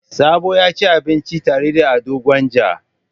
Sabo ya ci abinci tare da Ado Gwanja.